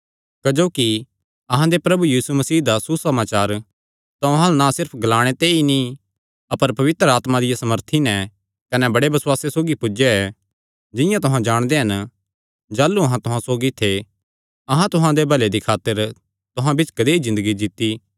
क्जोकि अहां दे प्रभु यीशु मसीह दा सुसमाचार तुहां अल्ल ना सिर्फ ग्लाणे ते ई नीं अपर पवित्र आत्मा दिया सामर्थी नैं कने बड़े बसुआसे सौगी पुज्जया ऐ जिंआं तुहां जाणदे हन जाह़लू अहां तुहां सौगी थे अहां तुहां दे भले दी खातर तुहां बिच्च कदेई ज़िन्दगी जीत्ती